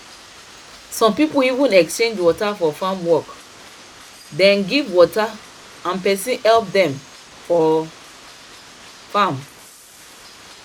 some people even exchange water for farm work dem give water and person help dem for farm